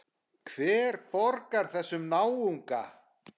Hver borgar þessum náunga?